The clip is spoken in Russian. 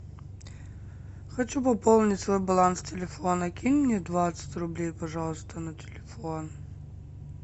хочу пополнить свой баланс телефона кинь мне двадцать рублей пожалуйста на телефон